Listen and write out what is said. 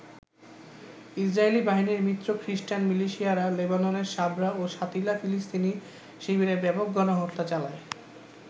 Israeli বাহিনীর মিত্র খ্রীষ্টান মিলিশিয়ারা লেবাননের সাবরা ও শাতিলা ফিলিস্তিনি শিবিরে ব্যাপক গণহত্যা চালায়।